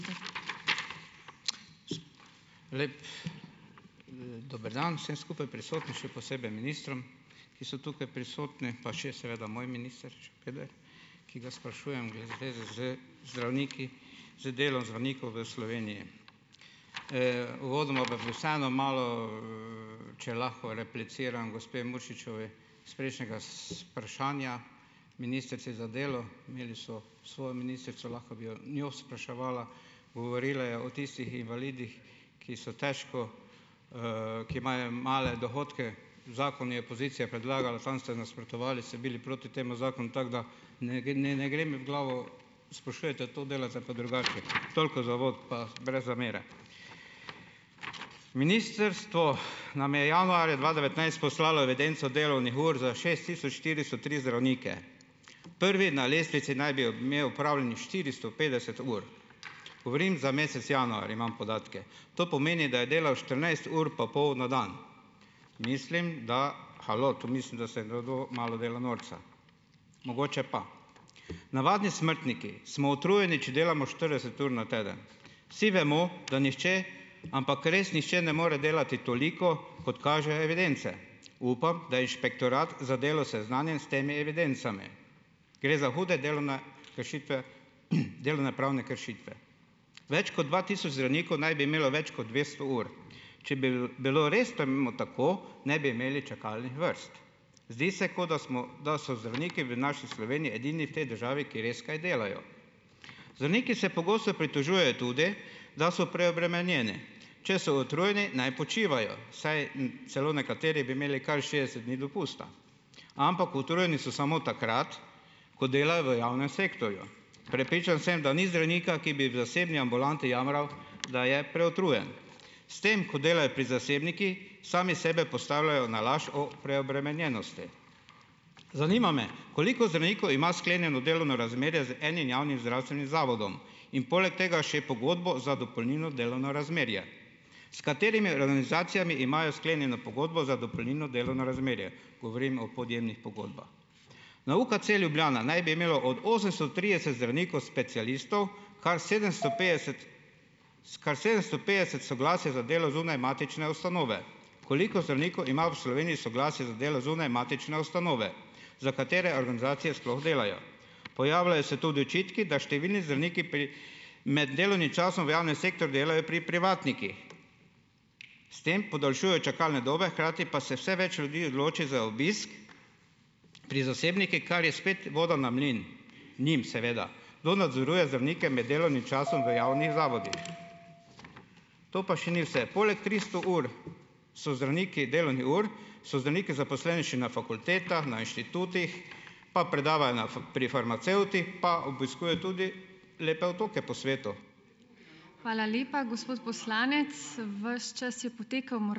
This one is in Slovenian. Dober dan vsem skupaj prisotnim, še posebej ministrom, ki so tukaj prisotni, pa še seveda moj minister Šabeder, ki ga sprašujem v zvezi z zdravniki, z delom zdravnikov v Sloveniji. uvodoma pa bi vseeno malo, če lahko repliciram gospe Muršičevi s prejšnjega vprašanja ministrici za delo. Imeli so svojo ministrico, lahko bi jo njo spraševala. Govorila je o tistih invalidih, ki so težko, ki imajo male dohodke. V zakonu je opozicija predlagala, tam ste nasprotovali, ste bili proti temu zakonu tako, da ne ne ne gre mi v glavo - sprašujete to, delate pa drugače. Toliko za uvod, pa brez zamere. Ministrstvo nam je januarja dva devetnajst poslalo evidenco delovnih ur za šest tisoč štiristo tri zdravnike. Prvi na lestvici naj bi imel opravljenih štiristo petdeset ur. Govorim za mesec januar, imam podatke. To pomeni, da je delal štirinajst ur pa pol na dan. Mislim, da halo. To mislim, da se nekdo malo dela norca. Mogoče pa. Navadni smrtniki smo utrujeni, če delamo štirideset ur na teden. Vsi vemo, da nihče ampak res nihče, ne more delati toliko, kot kažejo evidence. Upam, da je Inšpektorat za delo seznanjen s temi evidencami. Gre za hude delovne kršitve, delovnopravne kršitve. Več kot dva tisoč zdravnikov naj bi imelo več kot dvesto ur. Če bil bilo res temu tako, ne bi imeli čakalnih vrst. Zdi se kot, da smo da so zdravniki v naši Sloveniji edini v tej državi, ki res kaj delajo. Zdravniki se pogosto pritožujejo tudi, da so preobremenjeni - če so utrujeni, naj počivajo, saj celo nekateri bi imeli kar šestdeset dni dopusta. Ampak utrujeni so samo takrat, ko delajo v javnem sektorju. Prepričan sem, da ni zdravnika, ki bi v zasebni ambulanti jamral, da je preutrujen. S tem, ko delajo pri zasebnikih, sami sebe postavljajo na laž o preobremenjenosti. Zanima me, koliko zdravnikov ima sklenjeno delovno razmerje z enim javnim zdravstvenim zavodom in poleg tega še pogodbo za dopolnilno delovno razmerje? S katerimi organizacijami imajo sklenjeno pogodbo za dopolnilno delovno razmerje? Govorim o podjemnih pogodbah. Na UKC Ljubljana naj bi imelo od osemsto trideset zdravnikov specialistov kar sedem sto petdeset kar sedemsto petdeset soglasje za delo zunaj matične ustanove. Koliko zdravnikov ima v Sloveniji soglasje za delo zunaj matične ustanove? Za katere organizacije sploh delajo? Pojavljajo se tudi očitki, da številni zdravniki pri med delovnim časom v javnem sektorju delajo pri privatnikih. S tem podaljšujejo čakalne dobe, hkrati pa se vse več ljudi odloči za obisk pri zasebnikih, kar je spet voda na mlin - njim seveda. Kdo nadzoruje zdravnike med delovnim časom v javnih zavodih? To pa še ni vse, poleg tristo ur so zdravniki delovnih ur, so zdravniki zaposleni še na fakultetah, na inštitutih, pa predavajo na pri farmacevtih pa obiskujejo tudi lepe otoke po svetu.